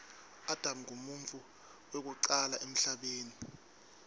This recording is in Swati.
adam nqumuntfu wekucala emhlabeni